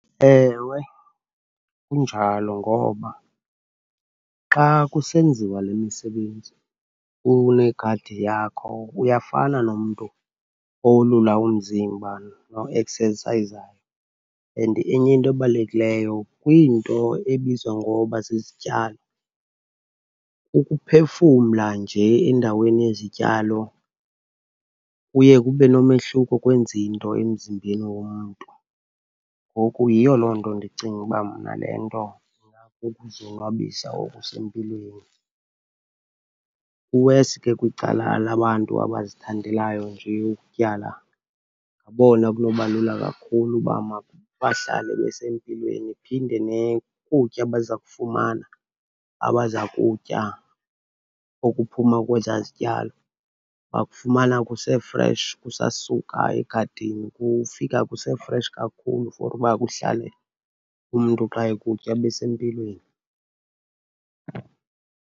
Ewe injalo, ngoba xa kusenziwa le misebenzi unegadi yakho uyafana nomntu owolula umzimba noeksesayizayo. And enye into ebalulekileyo, kwiinto ebizwa ngoba zizityalo, ukuphefumla nje endaweni yezityalo kuye kube nomehluko, kwenze into emzimbeni womntu. Ngoku yiyo loo nto ndicinga uba mna le nto ingakukuzonwabisa okusempilweni. Kuwesi ke kwicala labantu abazithandelayo nje ukutyala, ngabona ekunoba lula kakhulu uba mabahlale besempilweni. Iphinde ukutya abaza kufumana, abaza kutya okuphuma kwezaa zityalo bakufumana kuse-fresh, kusasuka egadini. Kufika kuse-fresh kakhulu for uba kuhlale, umntu xa ekutya abe sempilweni.